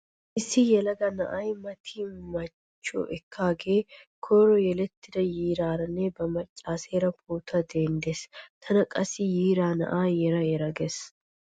Issi yelaga na'ay mati machchiyo ekkaagee koyro yelettida yiiraaranne ba machcheera pootuwa denddees. Tana qassi yiira na'aa yera yera gees.